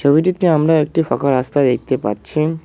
ছবিটিতে আমরা একটি ফাঁকা রাস্তা দেখতে পারছি।